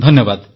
ଧନ୍ୟବାଦ